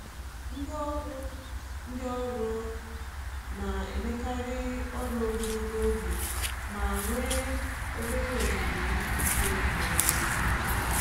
Ndị ọrụ Ndị ọrụ ụlọ na-emekarị um ọrụ ogologo oge ma um nwee obere ohere izu ike ma ọ bụ ezumike.